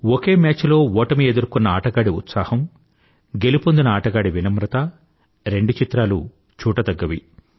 ఒకే match లో ఓటమినెదుర్కొన్న ఆటగాడి ఉత్సాహం గెలుపొందిన ఆటగాడి వినమ్రత రెండు చిత్రాలూ చూడతగ్గవి